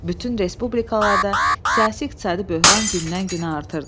Bütün respublikalarda siyasi iqtisadi böhran gündən-günə artırdı.